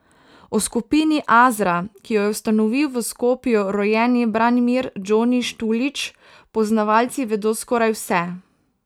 O skupini Azra, ki jo je ustanovil v Skopju rojeni Branimir Džoni Štulić, poznavalci vedo skoraj vse.